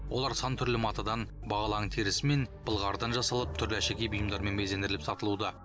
олар сан түрлі матадан бағалы аң терісі мен былғарыдан жасалып түрлі әшекей бұйымдармен безендіріліп сатылуда